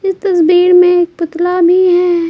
इस तस्वीर में एक पुतला भी है।